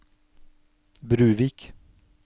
Bruvik